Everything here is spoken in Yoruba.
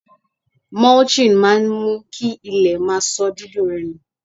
Mulching máa ń mú kí ilẹ̀ má sọ dídùn rẹ̀ nù.